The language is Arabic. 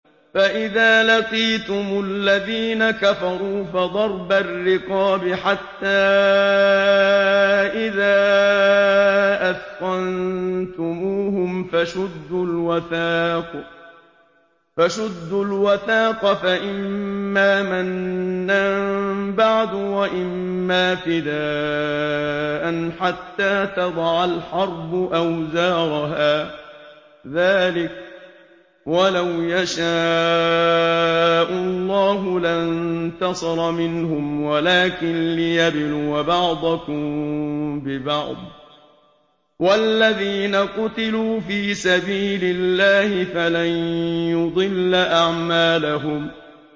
فَإِذَا لَقِيتُمُ الَّذِينَ كَفَرُوا فَضَرْبَ الرِّقَابِ حَتَّىٰ إِذَا أَثْخَنتُمُوهُمْ فَشُدُّوا الْوَثَاقَ فَإِمَّا مَنًّا بَعْدُ وَإِمَّا فِدَاءً حَتَّىٰ تَضَعَ الْحَرْبُ أَوْزَارَهَا ۚ ذَٰلِكَ وَلَوْ يَشَاءُ اللَّهُ لَانتَصَرَ مِنْهُمْ وَلَٰكِن لِّيَبْلُوَ بَعْضَكُم بِبَعْضٍ ۗ وَالَّذِينَ قُتِلُوا فِي سَبِيلِ اللَّهِ فَلَن يُضِلَّ أَعْمَالَهُمْ